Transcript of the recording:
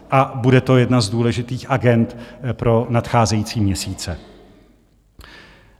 A bude to jedna z důležitých agend pro nadcházející měsíce.